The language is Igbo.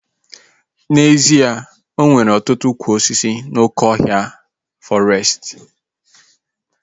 N'ezie, enwere ọtụtụ ụkwụ osisi n'oké ọhịa fọrestị